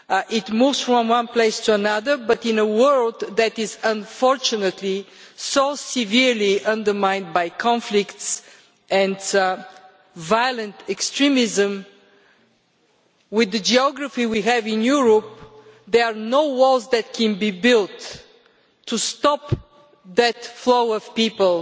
It moves from one place to another, but in a world that is, unfortunately, so severely undermined by conflicts and violent extremism, given the geography which we have in Europe there are no walls that can be built to stop the flow of people.